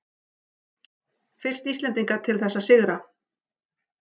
Fyrst Íslendinga til þess að sigra